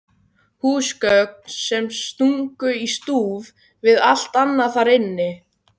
Húsgögn sem stungu í stúf við allt annað þar inni.